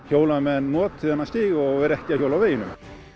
hjólamenn noti þennan stíg og séu ekki að hjóla á veginum